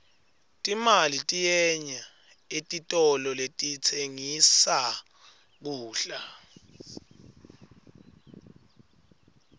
timali tiyenya etitolo letitsengissa kudla